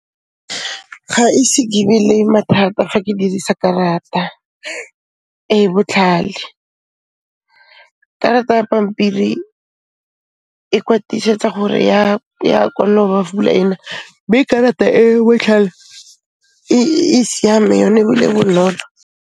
Ga ise ke be le mathata fa ke dirisa karata e botlhale. Karata ya pampiri e kwatisetsa gore ya pula e na mme karata e botlhale e siame yone ebile e bonolo.